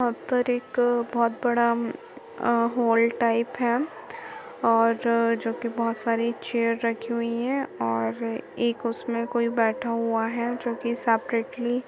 यहाँ पर एक बोहत बड़ा अ हाल टाइप है और जो की बहुत सारी चेयर रखी हुई है और एक उसमें कोई बैठा हुआ है जो की सेपरेटली --